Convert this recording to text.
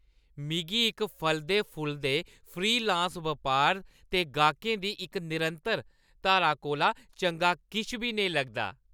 मिगी इक फलदे-फुलदे फ्रीलांस बपार ते गाह्‌कें दी इक निरंतर धारा कोला चंगा किश बी नेईं लगदा।